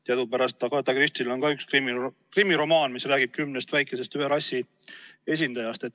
Teadupärast on Agatha Christiel ka üks krimiromaan, mis räägib kümnest väikesest ühe rassi esindajast.